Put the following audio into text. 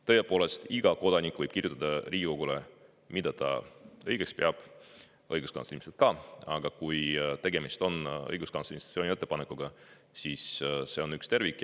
Tõepoolest, iga kodanik võib kirjutada Riigikogule, mida ta õigeks peab, õiguskantsler ilmselt ka, aga kui tegemist on õiguskantsleri institutsiooni ettepanekuga, siis see on üks tervik.